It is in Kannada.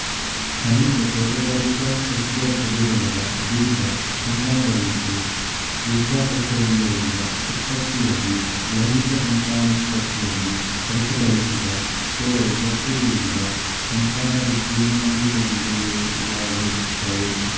ಅನೇಕ ತೋಟಗಾರಿಕಾ ಸಸ್ಯ ಪ್ರಭೇದಗಳು ಅಬೀಜ ಸಂತಾನಗಳಾಗಿದ್ದು ಏಕ ಸಸ್ಯವೊಂದರಿಂದ ಉತ್ಪತ್ತಿಯಾಗಿ ಲೈಂಗಿಕ ಸಂತಾನೋತ್ಪತ್ತಿಯನ್ನು ಹೊರತುಪಡಿಸಿದ ಕೆಲವು ಪ್ರಕ್ರಿಯೆಯಿಂದ ಸಂತಾನವೃದ್ಧಿಮಾಡಿಕೊಂಡವುಗಳಾಗಿರುತ್ತವೆ